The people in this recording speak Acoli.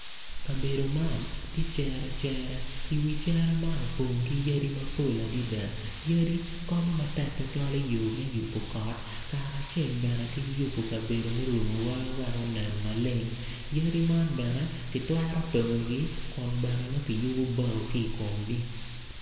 Kabedo man tye cere cerer i wi cere, wi cere man opong kiyadi mapol adada yadi konyo matek tutwal me yubo kot kacel ki weko yadi man bene kitwero tongoi kun bene nongo kiyubo bao kki i komgi.